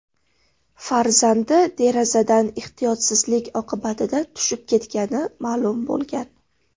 farzandi derazadan ehtiyotsizlik oqibatida tushib ketganini bildirgan.